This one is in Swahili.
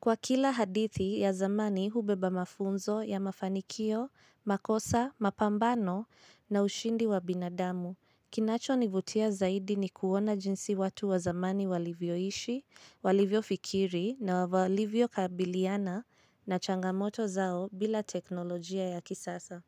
Kwa kila hadithi ya zamani hubeba mafunzo ya mafanikio, makosa, mapambano na ushindi wa binadamu. Kinacho nivutia zaidi ni kuona jinsi watu wa zamani walivyo ishi, walivyo fikiri na walivyo kabiliana na changamoto zao bila teknolojia ya kisasa.